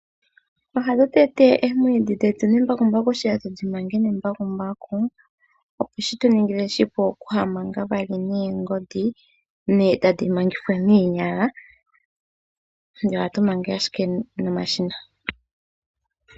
Ohatu tete oomwiidhi dhetu nembakumbaku, etatu dhi manga nembakumbaku opo shitu ningile oshipu ihaya manga we noongodhi nenge tadhi mangithwa noonyala, ashike ohatu nomashina.